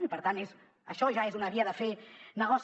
i per tant això ja és una via de fer negoci